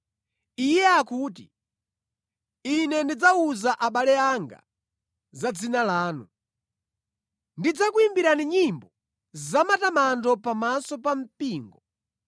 Iye akuti, “Ine ndidzawuza abale anga za dzina lanu. Ndidzakuyimbirani nyimbo zamatamando pamaso pa mpingo.”